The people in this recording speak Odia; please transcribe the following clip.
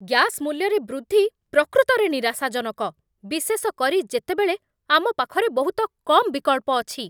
ଗ୍ୟାସ୍ ମୂଲ୍ୟରେ ବୃଦ୍ଧି ପ୍ରକୃତରେ ନିରାଶାଜନକ, ବିଶେଷ କରି ଯେତେବେଳେ ଆମ ପାଖରେ ବହୁତ କମ୍ ବିକଳ୍ପ ଅଛି।